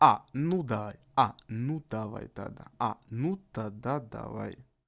а ну да а ну давай тогда а ну тогда давай